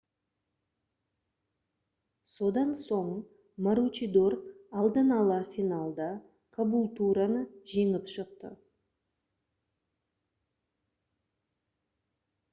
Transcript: содан соң маручидор алдын-ала финалда кабултураны жеңіп шықты